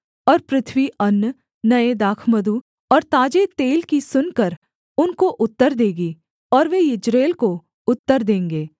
और पृथ्वी अन्न नये दाखमधु और ताजे तेल की सुनकर उनको उत्तर देगी और वे यिज्रेल को उत्तर देंगे